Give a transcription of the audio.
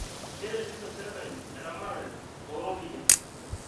keretito serkali eramatare too ropiyani